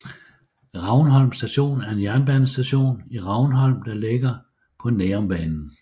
Ravnholm Station er en jernbanestation i Ravnholm der ligger på Nærumbanen